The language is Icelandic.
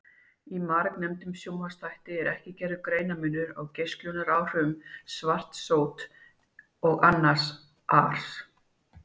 Í margnefndum sjónvarpsþætti var ekki gerður greinarmunur á geislunaráhrifum svarts sóts og annars ars.